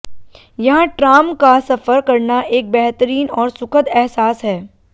यहां ट्राम का सफर करना एक बेहतरीन और सुखद एहसास है